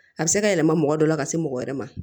A bɛ se ka yɛlɛma mɔgɔ dɔ la ka se mɔgɔ wɛrɛ ma